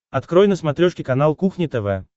открой на смотрешке канал кухня тв